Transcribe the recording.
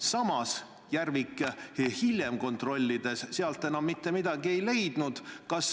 Samas Järvik hiljem kontrollides sealt enam mitte midagi ei leidnud.